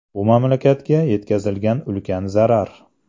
Bu mamlakatga yetkazilgan ulkan zarar.